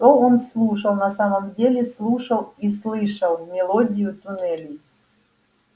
что он слушал на самом деле слушал и слышал мелодию туннелей